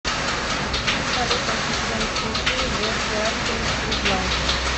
салют ассистент включи джеффри аткинс гуд лайф